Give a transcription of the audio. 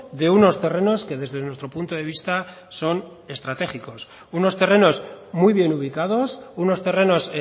de unos terrenos que desde nuestro punto de vista son estratégicos unos terrenos muy bien ubicados unos terrenos